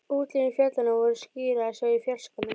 Útlínur fjallanna voru skýrar að sjá í fjarskanum.